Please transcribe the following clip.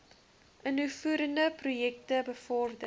innoverende projekte bevorder